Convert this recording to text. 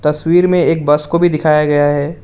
तस्वीर में एक बस को भी दिखाया गया है।